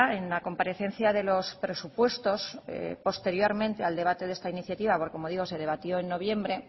en la comparecencia de los presupuestos posteriormente al debate de esta iniciativa porque como digo se debatió en noviembre